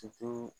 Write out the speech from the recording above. Ki to